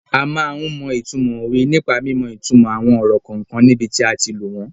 A máa ń mọ ìtumọ̀ òwe nípa mímọ ìtumò àwọn ọ̀rọ̀ kọ̀ọ̀kan níbi tí a ti lò wọ́n.